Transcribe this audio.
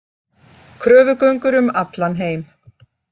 Kröfugöngur um allan heim